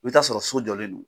I bɛ t'a sɔrɔ so jɔlen don